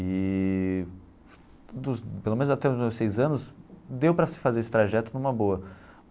Eee, dos pelo menos até os meus seis anos, deu para se fazer esse trajeto numa boa.